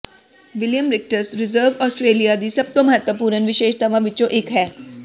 William Ricketts Reserve Australia ਦੀ ਸਭ ਤੋਂ ਮਹੱਤਵਪੂਰਨ ਵਿਸ਼ੇਸ਼ਤਾਵਾਂ ਵਿੱਚੋਂ ਇੱਕ ਹੈ